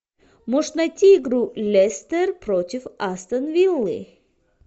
можешь найти игру лестер против астон виллы